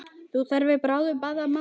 Þörf er fyrir báðar gerðir.